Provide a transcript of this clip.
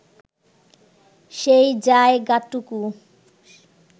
সেই যায়গাটুকু